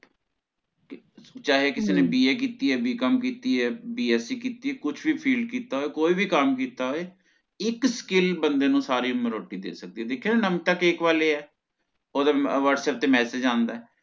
ਚਾਹੇ ਕਿਸੇ ਨੇ ਬਏ ਕੀਤੀ ਹੈ ਬਕੋਂ ਕੀਤੀ ਹੈ ਬਿਐਸਸਿ ਕੀਤੀ ਹਾਇਮਕੁਚ ਵੀ ਫੀਲ ਕੀਤਾ ਹੋਏ ਕੋਈ ਵੀ ਕਮ ਕੀਤਾ ਹੋਏ ਇੱਕ ਸਕਿੱਲ ਬੰਦੇ ਨੂੰ ਸਾਰੀ ਉਮਰ ਰੋਟੀ ਦੇ ਸਕਦੀ ਹੈ ਏਹ ਦੇਖਯਾ ਸੀ ਨਾਮਤਾਂ ਕੇਕ ਵਾਲੇ ਹੈ ਓਹਦੇ ਵਹਾਤਸਪਪ ਤੇ ਮੈਸੇਜ ਆਂਦਾ